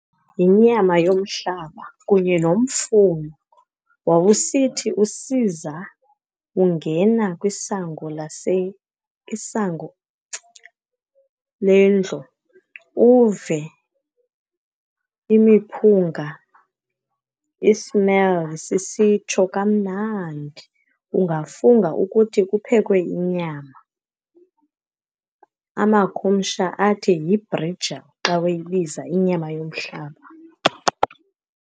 Yinyama yomhlaba kunye nomfuno. Wawusithi usiza ungena kwisango isango lendlu uve imiphunga i-smell sisitsho kamnandi. Ungafunga ukuthi kuphekwe inyama. Amakhumsha athi yi-brijal xa weyibiza inyama yomhlaba.